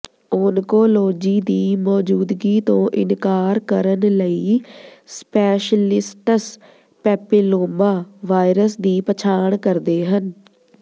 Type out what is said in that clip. oncology ਦੀ ਮੌਜੂਦਗੀ ਤੋਂ ਇਨਕਾਰ ਕਰਨ ਲਈ ਸਪੈਸ਼ਲਿਸਟਸ ਪੈਪਿਲੋਮਾ ਵਾਇਰਸ ਦੀ ਪਛਾਣ ਕਰਦੇ ਹਨ